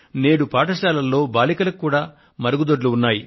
నేడు పాఠశాలల్లో బాలికలకు కూడా మరుగుదొడ్లు ఉన్నాయి